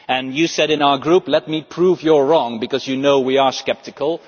Mr Timmermans, you said in our group, let me prove you wrong', because you know we are sceptical.